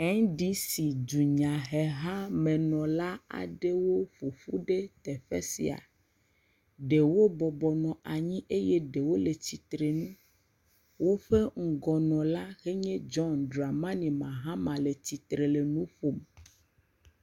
NDC dunyahehamenɔla aɖewo ƒoƒu ɖe teƒe sia, ɖewo bɔbɔnɔ anyi eye ɖewo le tsitre nu, woƒe ŋgɔnaɔla si nye John Dramani Mahama le nu ƒom.